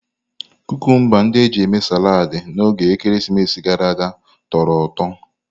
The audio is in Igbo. Kukumba ndị e ji mee saladi na oge ekeresimesi gara aga tọrọ ụtọ.